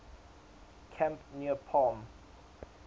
camp near palm